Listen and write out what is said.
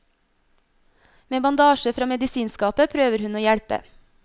Med bandasje fra medisinskapet prøver hun å hjelpe.